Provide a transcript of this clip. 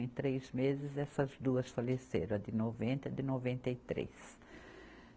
Em três meses essas duas faleceram, a de noventa e a de noventa e três.